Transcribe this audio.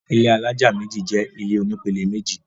ilé alájà méjì jẹ ilé oní pele méjì